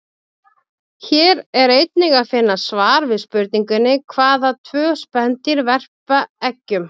Hér er einnig að finna svar við spurningunni: Hvaða tvö spendýr verpa eggjum?